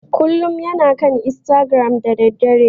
Kullum yana kan istagiram da daddare.